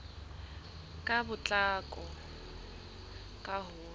ka potlako ka ho ya